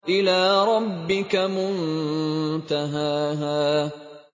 إِلَىٰ رَبِّكَ مُنتَهَاهَا